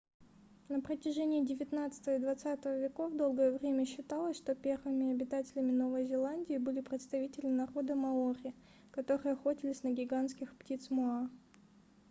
на протяжении девятнадцатого и двадцатого веков долгое время считалось что первыми обитателями новой зеландии были представители народа маори которые охотились на гигантских птиц моа